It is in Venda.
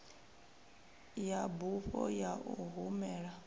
ya bufho ya u humela